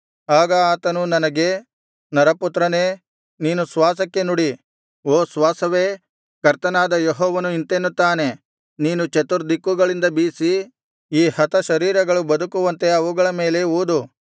ಆಗ ಆತನು ನನಗೆ ನರಪುತ್ರನೇ ನೀನು ಶ್ವಾಸಕ್ಕೆ ನುಡಿ ಓ ಶ್ವಾಸವೇ ಕರ್ತನಾದ ಯೆಹೋವನು ಇಂತೆನ್ನುತ್ತಾನೆ ನೀನು ಚತುರ್ದಿಕ್ಕುಗಳಿಂದ ಬೀಸಿ ಈ ಹತಶರೀರಗಳು ಬದುಕುವಂತೆ ಅವುಗಳ ಮೇಲೆ ಊದು